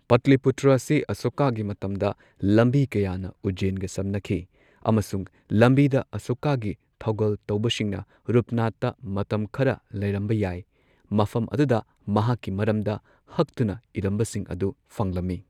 ꯄꯇꯂꯤꯄꯨꯇ꯭ꯔ ꯑꯁꯤ ꯑꯁꯣꯀꯥꯒꯤ ꯃꯇꯝꯗ ꯂꯝꯕꯤ ꯀꯌꯥꯅ ꯎꯖꯖꯦꯟꯒ ꯁꯝꯅꯈꯤ, ꯑꯃꯁꯨꯡ ꯂꯝꯕꯤꯗ, ꯑꯁꯣꯀꯥꯒꯤ ꯊꯧꯒꯜ ꯇꯧꯕꯁꯤꯡꯅ ꯔꯨꯞꯅꯥꯊꯇ ꯃꯇꯝ ꯈꯔ ꯂꯩꯔꯝꯕ ꯌꯥꯏ꯫ ꯃꯐꯝ ꯑꯗꯨꯗ ꯃꯍꯥꯛꯀꯤ ꯃꯔꯝꯗ ꯍꯛꯇꯨꯅ ꯏꯔꯝꯕꯁꯤꯡ ꯑꯗꯨ ꯐꯪꯂꯝꯃꯤ꯫